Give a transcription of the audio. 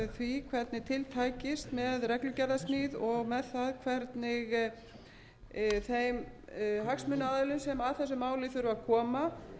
tækist með reglugerðarsmíð og með það hvernig þeim hagsmunaaðilum sem að þessu máli þurfa að koma fiskseljendur hvort sem það